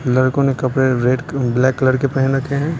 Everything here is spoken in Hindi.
लड़कों ने कपड़े रेड क ब्लैक कलर के पहन रखे हैं।